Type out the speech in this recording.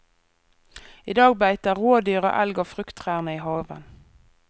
I dag beiter rådyr og elg av frukttrærne i haven.